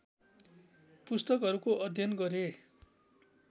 पुस्तकहरूको अध्ययन गरे